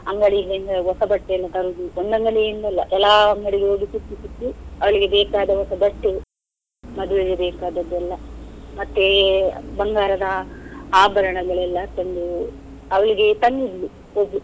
ಅಂಗಡಿಯಿಂದ ಹೊಸ ಬಟ್ಟೆಯನ್ನು ತರುದು, ಒಂದ್ ಅಂಗಡಿಯಿಂದ ಅಲ್ಲ ಕೆಲಾವ್ ಅಂಗಡಿಗೆ ಹೋಗಿ ಸುತ್ತಿ ಸುತ್ತಿ ಅವಳಿಗೆ ಬೇಕಾದ ಹೊಸ ಬಟ್ಟೆ, ಮದುವೆಗೆ ಬೇಕಾದದ್ದು ಎಲ್ಲ, ಮತ್ತೆ ಬಂಗಾರದ ಆಭರಣಗಳೆಲ್ಲ ತಂದು ಅವಳಿಗೆ ತಂದಿದ್ಳು ಓಬ್ಳು.